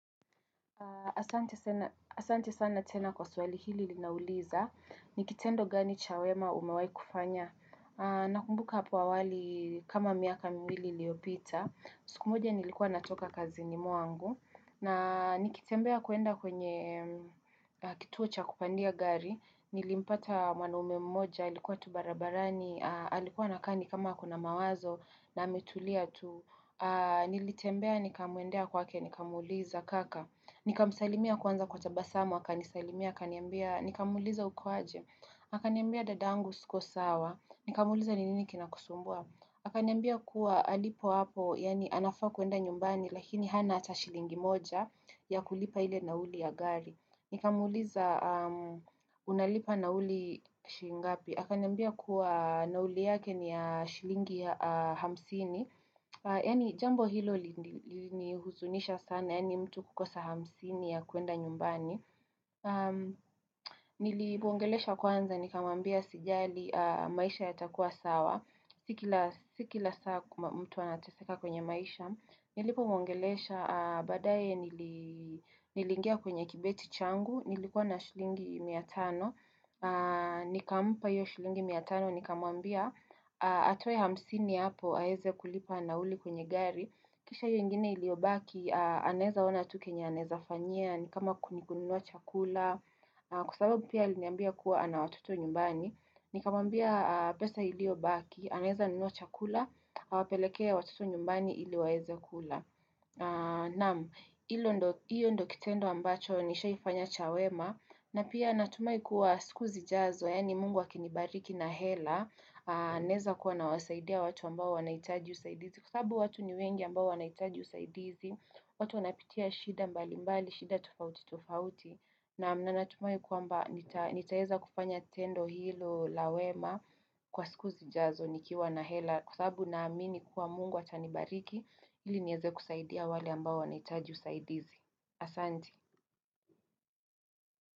Asante sana tena kwa swali hili linauliza. Ni kitendo gani cha wema umawai kufanya. Nakumbuka hapo awali kama miaka mwili iliopita. Siku moja nilikuwa natoka kazini mwangu. Na nikitembea kuenda kwenye kituo cha kupandia gari, nilimpata wanaume mmoja, alikuwa tu barabarani, alikuwa anakaa ni kama ako na mawazo na ametulia tu. Nilitembea, nikamuendea kwake, nikamuliza kaka. Nikamsalimia kwanza kwa tabasamu, akanisalimia, akaniambia, nikamuliza uko aje. Akaniambia dadangu siko sawa, nikamuliza ni nini kina kusumbua. Akanyambia kuwa alipo hapo, yani anafaa kuenda nyumbani, lakini hana ata shilingi moja ya kulipa ile nauli ya gari. Nikamuliza unalipa nauli shi ngapi. Akaniambia kuwa nauli yake ni ya shilingi hamsini. Yani jambo hilo lilihuzunisha sana, yani mtu kukosa hamsini ya kuenda nyumbani. Nilimwongelesha kwanza, nikamambia asijali maisha yatakua sawa. Si kila saa mtu anateseka kwenye maisha Nilipomwongelesha, badaye nili nilingia kwenye kibeti changu Nilikuwa na shilingi mia tano Nikamupa iyo shilingi mia tano, nikamwambia Atowe hamsini hapo, aeze kulipa nauli kwenye gari Kisha iyo ingine iliyobaki, aneza ona tu kenya aneza fanyia Nikama kununua chakula Kwa sababu pia iliambia kuwa anawatoto nyumbani Nikamwambia pesa iliyobaki aneza nunuwa chakula, awapelekee watoto nyumbani ili waweza kula. Nam, hiyo ndo kitendo ambacho nishaifanya cha wema, na pia anatumai kuwa siku zijazo, yani mungu akinibariki na hela, naeza kuwa nawasaidia watu ambao wanaitaji usaidizi. Sabubu watu ni wengi ambao wanaitaji usaidizi, watu wanapitia shida mbali mbali, shida tufauti tufauti. Nam, na natumai kuwamba, nitaeza kufanya tendo hilo la wema kwa siku zijazo. Nikiwa na hela kwa sababu na amini kuwa mungu atanibariki ili nieze kusaidia wale ambao wanahitaji usaidizi. Asanti.